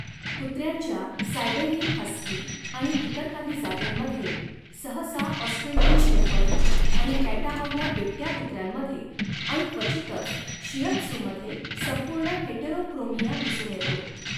कुत्र्यांच्या Siberian husky आणि इतर काही जातींमध्ये, सहसा ऑस्ट्रेलियन शेफर्ड आणि कॅटाहौला बिबट्या कुत्र्यांमध्ये आणि क्वचितच शिहत्झूमध्ये संपूर्ण हेटेरोक्रोमिया दिसून येतो.